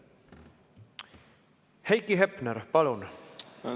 Heiki Hepner, palun!